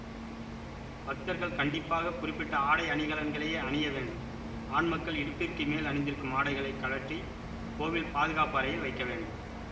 பக்தர்கள் கண்டிப்பாக குறிப்பிட்ட ஆடை அணிகலன்களையே அணிய வேண்டும் ஆண் மக்கள் இடுப்பிற்கு மேல் அணிந்திருக்கும் ஆடைகளை கழற்றி கோவில் பாதுகாப்பு அறையில் வைக்க வேண்டும்